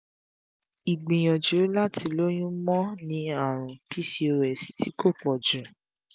igbìyànjú láti lóyún mo ní àrùn pcos ti ko poju